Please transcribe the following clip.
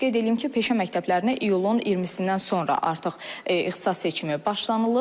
Qeyd eləyim ki, peşə məktəblərinə iyulun 20-dən sonra artıq ixtisas seçimi başlanılır.